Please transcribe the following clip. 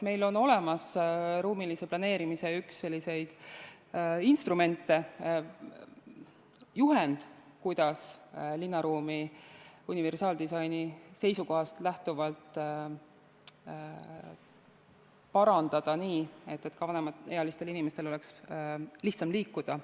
Meil on olemas ruumilise planeerimise üks instrumente, juhend, kuidas linnaruumi universaaldisaini seisukohast lähtuvalt parandada nii, et ka vanemaealistel inimestel oleks lihtsam liikuda.